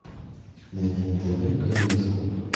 найди на тв калейдоскоп